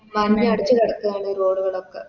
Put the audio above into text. മണ്ണടച്ച് കെടക്കാണ് Road കാളോക്കെ